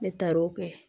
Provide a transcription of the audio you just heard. Ne taar'o kɛ